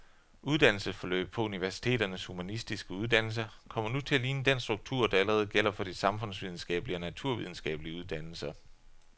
Uddannelsesforløbet på universiteternes humanistiske uddannelser kommer nu til at ligne den struktur, der allerede gælder for de samfundsvidenskabelige og naturvidenskabelige uddannelser.